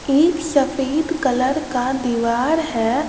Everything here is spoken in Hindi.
एक सफेद कलर का दीवार है।